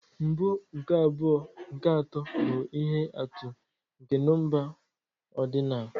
Mbụ, nke abụọ, nke atọ, bụ ihe atụ nke nọmba odinal.